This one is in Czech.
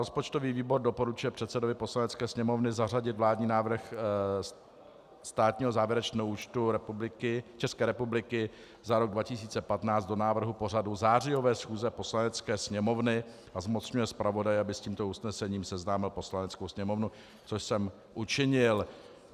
Rozpočtový výbor doporučuje předsedovi Poslanecké sněmovny zařadit vládní návrh státního závěrečného účtu České republiky za rok 2015 do návrhu pořadu zářijové schůze Poslanecké sněmovny a zmocňuje zpravodaje, aby s tímto usnesením seznámil Poslaneckou sněmovnu, což jsem učinil.